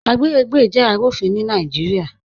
Agbègbè jẹ́ arúfìn ni Naijíríà.